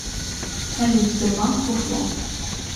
салют сбербанк фуфло